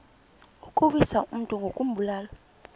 ukuwisa umntu ngokumbulala